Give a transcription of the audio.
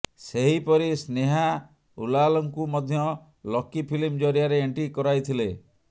ସେହିପରି ସ୍ନେହା ଉଲାଲଙ୍କୁ ମଧ୍ୟ ଲକି ଫିଲ୍ମ ଜରିଆରେ ଏଣ୍ଟ୍ରି କରାଇଥିଲେ